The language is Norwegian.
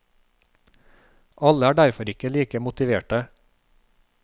Alle er derfor ikke like motiverte.